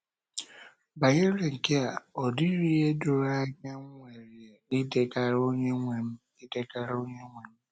Banyere nkea, ọ dịghị ihe doro anya m nwere idegara Onyenwe m idegara Onyenwe m.